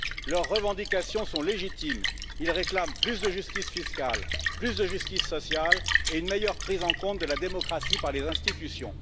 Leurs revendications sont légitimes, ils réclament plus de justice fiscale, plus de justice sociale et une meilleure prise en compte de la démocratie par les institutions.